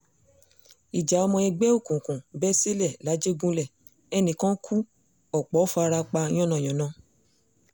ìjà ọmọ ẹgbẹ́ òkùnkùn bẹ́ sílẹ̀ làjẹgúnlẹ̀ ẹnì kan kù ọ̀pọ̀ fara pa yánnayànna